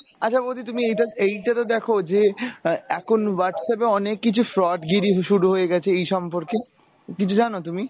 আচ্ছা বৌদি তুমি এইটা এইটাকে দেখো যে আহ এখন WhatsApp এ অনেক কিছু fraud গিরি শুরু হয়ে গেছে এই সম্পর্কে কিছু জানো তুমি ?